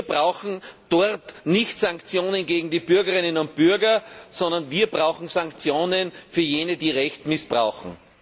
Wir brauchen dort nicht Sanktionen gegen die Bürgerinnen und Bürger, sondern wir brauchen Sanktionen für jene, die Recht missbrauchen.